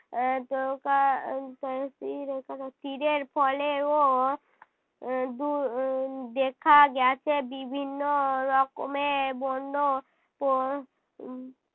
আহ তোকা তই রস্মি র এ একার র তীরের ফলে ও উহ দু~ দেখা গেছে বিভিন্ন রকমের বন্য প~ উহ